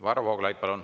Varro Vooglaid, palun!